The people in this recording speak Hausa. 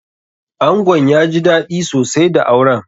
Angon ya ji daɗi sosai da auren.